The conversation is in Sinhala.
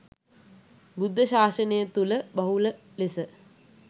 බුද්ධ ශාසනය තුළ බහුල ලෙස